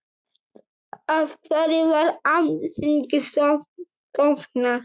Af hverju var Alþingi stofnað?